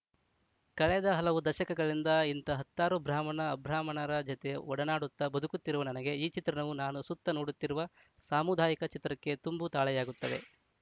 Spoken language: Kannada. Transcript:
ಕಳೆದ ಹಲವು ದಶಕಗಳಿಂದ ಇಂಥ ಹತ್ತಾರು ಬ್ರಾಹ್ಮಣಅಬ್ರಾಹ್ಮಣರ ಜತೆ ಒಡನಾಡುತ್ತ ಬದುಕುತ್ತಿರುವ ನನಗೆ ಈ ಚಿತ್ರಣವು ನಾನು ಸುತ್ತ ನೋಡುತ್ತಿರುವ ಸಾಮುದಾಯಿಕ ಚಿತ್ರಕ್ಕೆ ತುಂಬ ತಾಳೆಯಾಗುತ್ತದೆ